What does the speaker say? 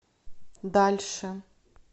дальше